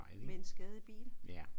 Med en skadet bil?